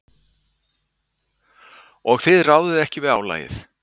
Og þið ráðið ekki við álagið?